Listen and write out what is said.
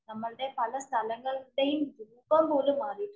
നമ്മളുടെ പല സ്ഥലങ്ങളുടെയുംമാറിയിട്ടുണ്ട്.